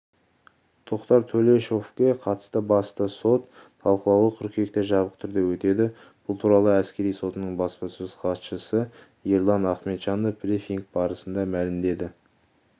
тоқтар төлешовке қатысты басты сот талқылауы қыркүйекте жабық түрде өтеді бұл туралы әскери сотының баспасөз хатшысы ерлан ахметжанов брифинг барысында мәлімдеді